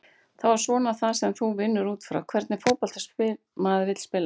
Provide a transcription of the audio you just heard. Það er svona það sem þú vinnur útfrá, hvernig fótbolta maður vill spila?